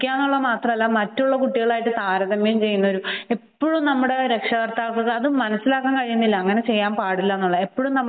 അതുമാത്രമല്ല കുട്ടികളുമായി താരതമ്യം ചെയ്യുന്നതും എപ്പോഴും നമ്മുടെ രക്ഷകർത്താക്കൾ അത് മനസ്സിലാക്കുന്നില്ല അങ്ങനെ ചെയ്യാൻ പാടില്ല എന്നുള്ളത്